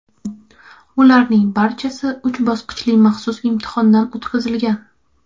Ularning barchasi uch bosqichli maxsus imtihondan o‘tkazilgan.